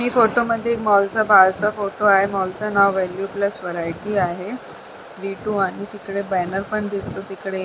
ह्या फोटो मध्ये मॉल च्या बाहेरचा फोटो आहे मॉल चा नाव वेणू प्लस व्हरायटी आहे व्ही टू आणि तिकडे बॅनर पण दिसतो तिकडे--